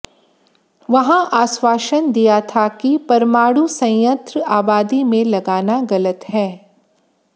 वहां आश्वासन दिया था कि परमाणु संयंत्र आबादी में लगाना गलत है